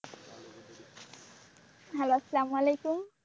Hello সালাম আলাইকুম।